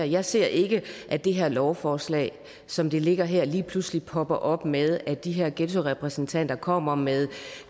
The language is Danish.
jeg ser ikke at det her lovforslag som det ligger her lige pludselig popper op med at de her ghettorepræsentanter kommer med